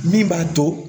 Min b'a to